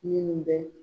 Minnu bɛ